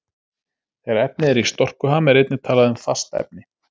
Þegar efni er í storkuham er einnig talað um fast efni.